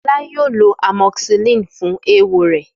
Fọlá yóò lo amoxicillin fún eéwo rẹ̀.